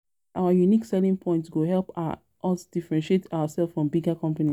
I know say our unique selling points go help us differentiate ourselves from bigger companies.